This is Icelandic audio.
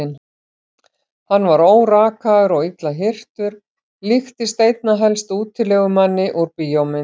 Hann var órakaður og illa hirtur, líktist einna helst útilegumanni úr bíómynd.